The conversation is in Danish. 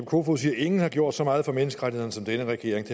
kofod siger at ingen har gjort så meget for menneskerettighederne som denne regering